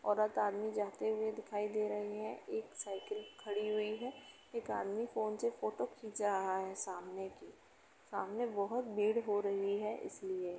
औरत आदमी जाते हुऐ दिखायी दे रहे है। एक साइकिल खड़ी हुई है। एक आदमी फोन से फोटो खींच रहा है सामने की। सामने बहुत भीड़ हो रही है इस लिए --